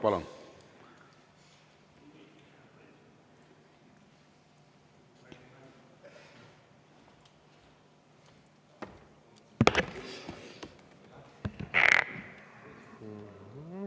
Palun!